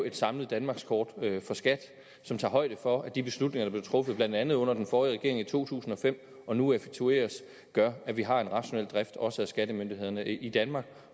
et samlet danmarkskort for skat som tager højde for at de beslutninger der er blevet truffet blandt andet under den forrige regering i to tusind og fem og nu effektueres gør at vi har en rationel drift også af skattemyndighederne i danmark